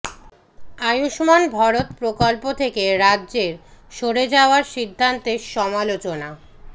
আয়ুষ্মান ভারত প্রকল্প থেকে রাজ্যের সরে যাওয়ার সিদ্ধান্তের সমালোচনা